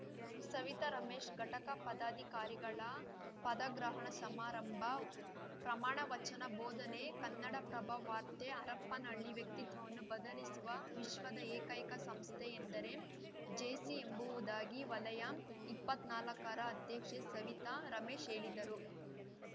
ಸವಿತಾ ರಮೇಶ್‌ ಘಟಕ ಪದಾಧಿಕಾರಿಗಳ ಪದಗ್ರಹಣ ಸಮಾರಂಭ ಪ್ರಮಾಣವಚನ ಬೋಧನೆ ಕನ್ನಡಪ್ರಭ ವಾರ್ತೆ ಹರಪನಹಳ್ಳಿ ವ್ಯಕ್ತಿತ್ವವನ್ನು ಬದಲಿಸುವ ವಿಶ್ವದ ಏಕೈಕ ಸಂಸ್ಥೆ ಎಂದರೆ ಜೇಸಿ ಎಂಬುವುದಾಗಿ ವಲಯ ಇಪ್ಪತ್ನಾಲಕ್ಕರ ಅಧ್ಯಕ್ಷೆ ಸವಿತಾ ರಮೇಶ್ ಹೇಳಿದರು